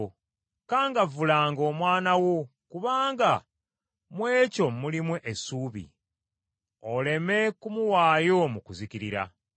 Kangavvulanga omwana wo kubanga mu ekyo mulimu essuubi, oleme kumuwaayo mu kuzikirira.